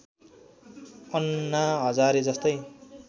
अन्ना हजारे जस्तै